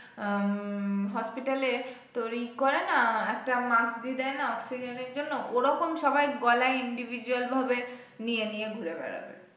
আহ hospital এ তোর ইয়ে করেনা একটা mask দিয়ে দেয়না অক্সিজেনের জন্য ওরকম সবাই গলায় individual ভাবে নিয়ে নিয়ে ঘুরে বেড়াবে।